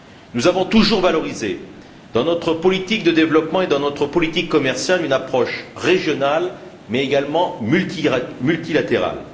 Nous avons toujours valorisé, dans notre politique de développement et dans notre politique commerciale, une approche régionale, mais également multilatérale.